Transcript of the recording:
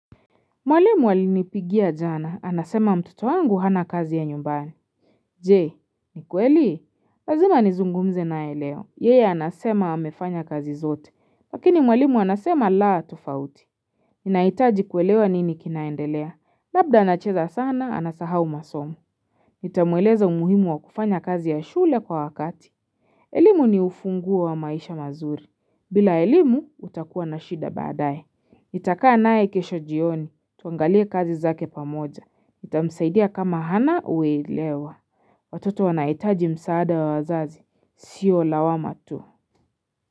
Mwalimu alinipigia jana, anasema mtoto wangu hana kazi ya nyumbani. Je, ni kweli? Lazima nizungumze naye leo. Yeye anasema amefanya kazi zote. Lakini mwalimu anasema laa tofauti. Ninahitaji kuelewa nini kinaendelea. Labda anacheza sana, anasahau masomo. Nitamueleza umuhimu wa kufanya kazi ya shule kwa wakati. Elimu ni ufunguo wa maisha mazuri. Bila elimu, utakua na shida baadaye. Nitakaa naye kesho jioni. Tuangalie kazi zake pamoja. Nitamsaidia kama hana uelewa. Watoto wanahitaji msaada wa wazazi. Sio lawama tu.